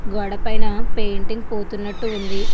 గోడ పైన పెయింటింగ్ పోతున్నాటు ఉంది.